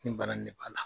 Ni bana nin b'a la